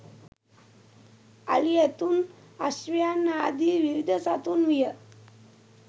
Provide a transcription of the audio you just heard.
අලි ඇතුන් අශ්වයන් ආදී විවිධ සතුන් විය